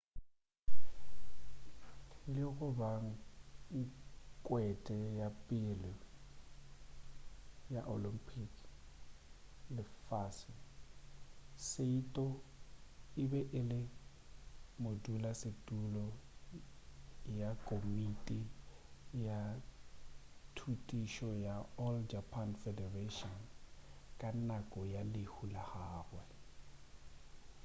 le go ba nkgwete ya pele ya olympic le lefase saito e be e le modulasetulo ya komiti ya thutišo ya all japan federation ka nako ya lehu la gagwe